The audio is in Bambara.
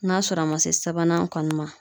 N'a sɔrɔ a ma se sabanan kɔni ma